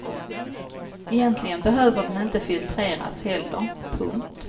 Egentligen behöver den inte filtreras heller. punkt